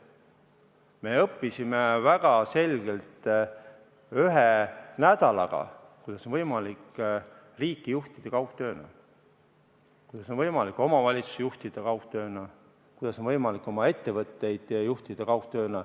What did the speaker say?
Me õppisime selgeks ühe nädalaga, kuidas on võimalik riiki juhtida kaugtööna, kuidas on võimalik omavalitsust juhtida kaugtööna, kuidas on võimalik ettevõtteid juhtida kaugtööna.